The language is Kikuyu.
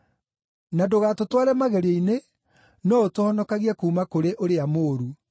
Na ndũgatũtware magerio-inĩ, no ũtũhonokagie kuuma kũrĩ ũrĩa mũũru.’